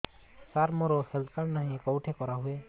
ସାର ମୋର health card ନାହିଁ କେଉଁଠି କରା ହୁଏ